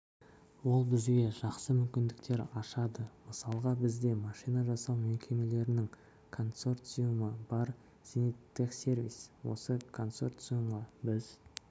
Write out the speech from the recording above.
ол бізге жақсы мүмкіндіктер ашады мысалға бізде машина жасау мекемелерінің консорциумы бар зениттехсервис осы консорциумға біз